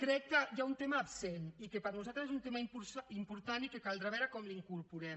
crec que hi ha un tema absent i que per nosaltres és un tema important i que caldrà veure com l’incorporem